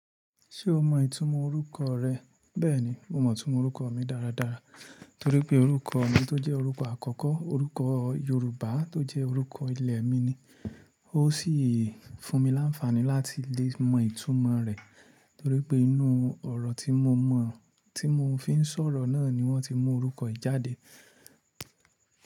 Ṣé o mọ ìtumọ̀ orúkọ rẹ? Bẹ́ẹ̀ni, mo mọ ìtumọ̀ orúkọ mi dáradára torí pé orúkọ mi tó jẹ́ orúkọ àkọ́kọ́, orúkọ Yorùbá tó jẹ́ orúkọ ilẹ̀ mi ni. Ó sì fún mi láǹfàní láti lè mọ ìtumọ̀ rẹ̀ torí pé inú ọ̀rọ̀ tí mo mọ̀, tí mo fi ń sọ̀rọ̀ náà ni wọ́n ti mú orúkọ yìí jáde.